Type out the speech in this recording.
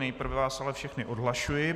Nejprve vás ale všechny odhlašuji.